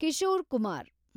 Kishore Kumar